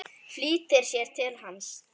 Flýtir sér til hans.